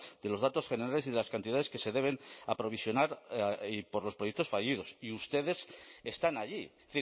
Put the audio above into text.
de los datos generales y de las cantidades que se deben aprovisionar por los proyectos fallidos y ustedes están allí es